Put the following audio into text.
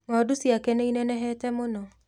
Ng'ondu ciake nĩinenehete mũno